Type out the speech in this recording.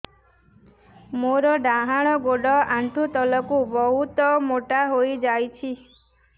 ମୋର ଡାହାଣ ଗୋଡ଼ ଆଣ୍ଠୁ ତଳକୁ ବହୁତ ମୋଟା ହେଇଯାଉଛି